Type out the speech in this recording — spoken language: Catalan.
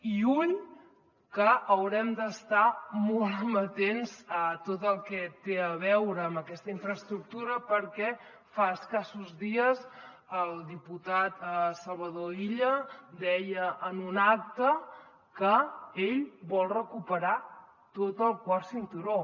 i ull que haurem d’estar molt amatents a tot el que té a veure amb aquesta infraestructura perquè fa escassos dies el diputat salvador illa deia en un acte que ell vol recuperar tot el quart cinturó